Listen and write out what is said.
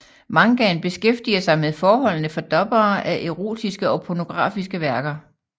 Mangaen beskæftiger sig med forholdene for dubbere af erotiske og pornografiske værker